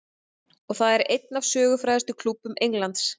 Og það einn af sögufrægustu klúbbum Englands.